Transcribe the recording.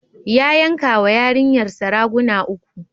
Ya yankawa yarinrsa raguna uku.